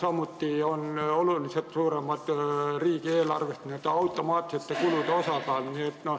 Samuti on riigieelarves oluliselt suurem n-ö automaatsete kulude osakaal.